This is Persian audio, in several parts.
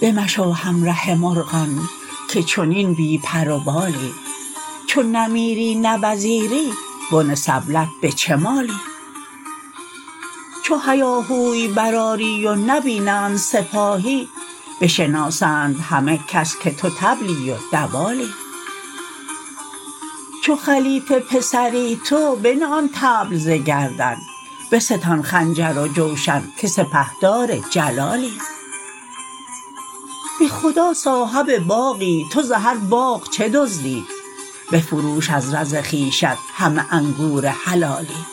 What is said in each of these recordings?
بمشو همره مرغان که چنین بی پر و بالی چو نه میری نه وزیری بن سبلت به چه مالی چو هیاهوی برآری و نبینند سپاهی بشناسند همه کس که تو طبلی و دوالی چو خلیفه پسری تو بنه آن طبل ز گردن بستان خنجر و جوشن که سپهدار جلالی به خدا صاحب باغی تو ز هر باغ چه دزدی بفروش از رز خویشت همه انگور حلالی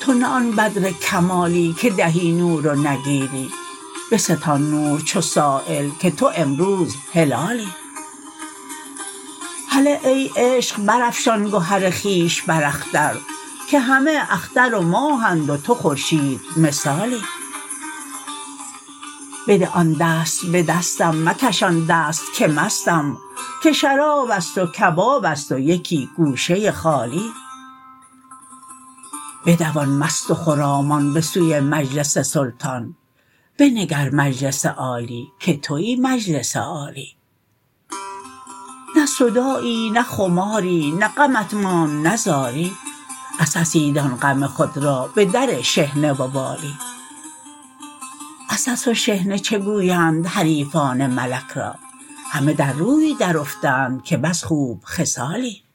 تو نه آن بدر کمالی که دهی نور و نگیری بستان نور چو سایل که تو امروز هلالی هله ای عشق برافشان گهر خویش بر اختر که همه اختر و ماهند و تو خورشیدمثالی بده آن دست به دستم مکشان دست که مستم که شراب است و کباب است و یکی گوشه ای خالی بدوان مست و خرامان به سوی مجلس سلطان بنگر مجلس عالی که توی مجلس عالی نه صداعی نه خماری نه غمت ماند نه زاری عسسی دان غم خود را به در شحنه و والی عسس و شحنه چه گویند حریفان ملک را همه در روی درافتند که بس خوب خصالی